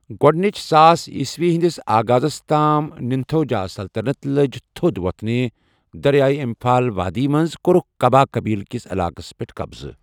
گۅڈنِچ ساس عیسوی ہٕنٛدِس آغازس تام نِنتھوجا سلطنت لٔج تھوٚد وتھنہِ دریائے اِمپھال وادی منٛز، کوٚرکھ کھبا قبیلہ کِس علاقس پٮ۪ٹھ قبضہٕ۔